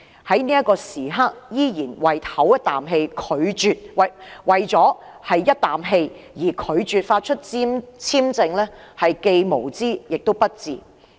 如果香港在這刻為了一口氣而拒絕向馬凱續發簽證，便是既無知亦不智的行為。